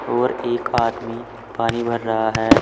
और एक आदमी पानी भर रहा है।